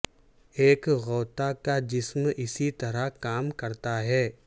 ایک غوطہ کا جسم اسی طرح کام کرتا ہے